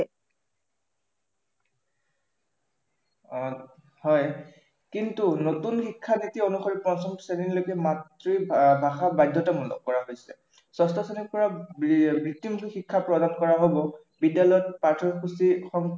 অ হয়, কিন্তু নতুন শিক্ষানীতি অনুসৰি পঞ্চম শ্ৰেণীলৈকে মাতৃভাষা বাধ্য়তামূলক কৰা হৈছে। ষষ্ঠ শ্ৰেণীৰ পৰা বৃত্তিমূলক শিক্ষা প্ৰদান কৰা হব। বিদ্য়ালয়ত পাঠ্য়সূচী